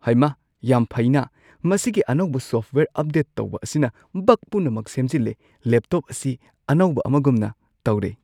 ꯍꯩꯃꯥ ꯌꯥꯝ ꯐꯩꯅꯥ, ꯃꯁꯤꯒꯤ ꯑꯅꯧꯕ ꯁꯣꯐꯠꯋꯦꯌꯔ ꯑꯞꯗꯦꯠ ꯇꯧꯕ ꯑꯁꯤꯅ ꯕꯒ ꯄꯨꯝꯅꯃꯛ ꯁꯦꯝꯖꯤꯜꯂꯦ꯫ ꯂꯦꯞꯇꯣꯞ ꯑꯁꯤ ꯑꯅꯧꯕ ꯑꯃꯒꯨꯝꯅ ꯇꯧꯔꯦ !